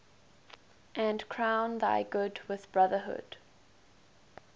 and crown thy good with brotherhood